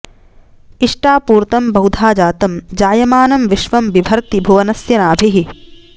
इ॒ष्टा॒पू॒र्तं ब॑हु॒धा जा॒तं जाय॑मानं वि॒श्वं बि॑भर्ति॒ भुव॑नस्य॒ नाभिः॑